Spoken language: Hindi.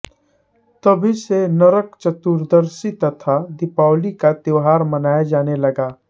तभी से नरक चतुर्दशी तथा दीपावली का त्योहार मनाया जाने लगा